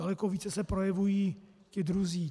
Daleko více se projevují ti druzí.